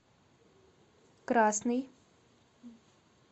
красный